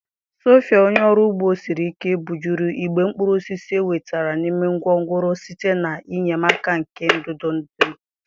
sophia, onye ọrụ ugbo siri ike, bujuru igbe mkpụrụ osisi e wetara n'ime gwongworo site n'enyemaka nke ndụdụ ndụdụ.